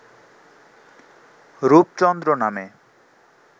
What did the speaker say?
রূপচন্দ্র নামে